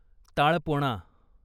ताळपोणा